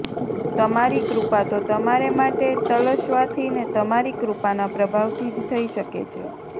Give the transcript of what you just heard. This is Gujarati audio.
તમારી કૃપા તો તમારે માટે તલસવાથી ને તમારી કૃપાના પ્રભાવથી જ થઈ શકે છે